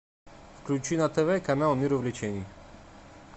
включи на тв канал мир увлечений